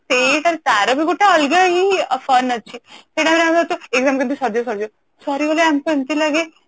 ତ ସେଇଟା ତାର ବି ଗୋଟେ ଅଲଗା ହିଁ fun ଅଛି ସେଇ time ରେ ଆମେ ଖାଲି exam କେମିତି ସରିଯିବ ସରିଯିବ ସରିଗଲେ ଆମକୁ ଏମିତି ଲାଗେ